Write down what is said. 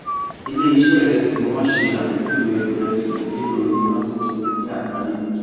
ilé ṣé ìrẹsì wón ṣe àpéjúwe rè sì nílò iná tó tóbi ní àgbáyé